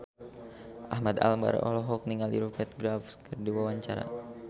Ahmad Albar olohok ningali Rupert Graves keur diwawancara